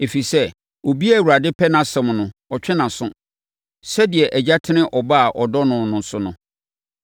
Ɛfiri sɛ, obiara a Awurade pɛ nʼasɛm no, ɔtwe nʼaso, sɛdeɛ agya tene ɔba a ɔdɔ no so no.”